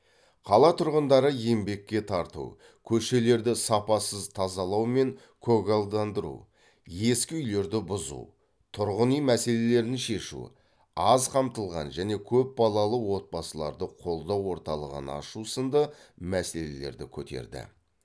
қала тұрғындары еңбекке тарту көшелерді сапасыз тазалау мен көгалдандыру ескі үйлерді бұзу тұрғын үй мәселелерін шешу аз қамтылған және көп балалы отбасыларды қолдау орталығын ашу сынды мәселелерді көтерді